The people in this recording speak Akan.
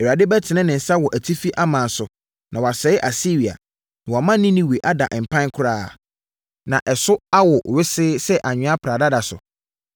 Awurade bɛtene ne nsa wɔ atifi aman so na wasɛe Asiria, na wama Ninewe ada mpan koraa na ɛso awo wesee sɛ anwea pradada so.